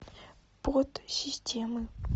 подсистемы